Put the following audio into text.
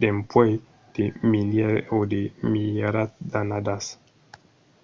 dempuèi de milièrs e de milierats d'annadas